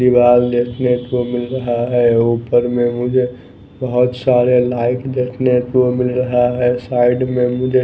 दीवाल देखने को मिल रहा है ऊपर में मुझे बहुत सारे लाइट देखने को मिल रहा है साइड में मुझे--